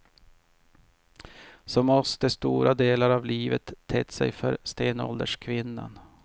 Så måste stora delar av livet tett sig för stenålderskvinnan.